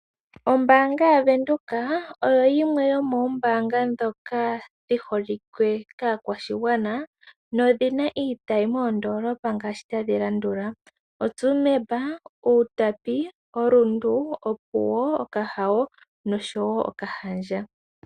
Ombaanga yaVenduka oyo yimwe yomoombanga dhoka dhi holikwe kaa kwashigwana nodhina iitayi moondolopa ngaashi tadhi landula :Tsumeb, Outapi, Rundu, Opuwo, Okahao, Okahandja.